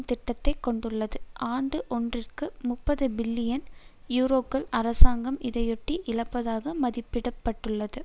திட்டத்தை கொண்டுள்ளது ஆண்டு ஒன்றிற்கு முப்பது பில்லியன் யூரோக்கள் அரசாங்கம் இதையொட்டி இழப்பதாக மதிப்பிட பட்டுள்ளது